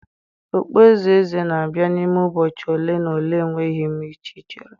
okpueze eze na-abịa n'ime ụbọchị ole na ole, enweghị m ike ichere.